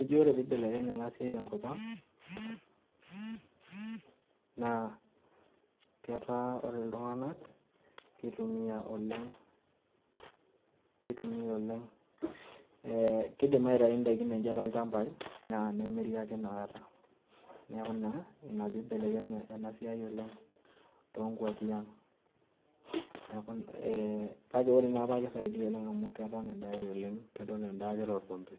Ejii ore pibelekenye enasiai tenkop ang',naa ketaa ore iltung'anak, kitumia oleng',kitumia oleng',kidim aitayu daikin enche tolchambai, na nemiri ake inakata. Neeku naa, ina pibelekenye enasiai oleng' tonkwapi ang'. Neku eh kake ore naapa kisaidia oleng' amu keton endai oleng',keton endaa torrombe,